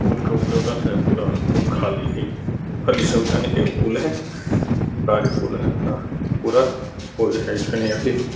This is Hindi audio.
पूल पूरा पूल खाली है। पूल है। सरकारी पूल है। अपना पूरा --